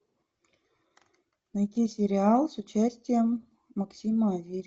найти сериал с участием максима аверина